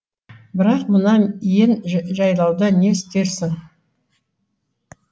бірақ мына иен жайлауда не істерсің